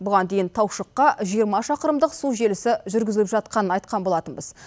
бұған дейін таушыққа жиырма шақырымдық су желісі жүргізіліп жатқанын айтқан болатынбыз